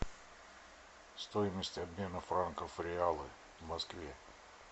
стоимость обмена франков в реалы в москве